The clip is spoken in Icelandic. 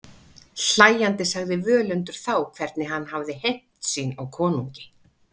Hlæjandi sagði Völundur þá hvernig hann hafði hefnt sín á konungi.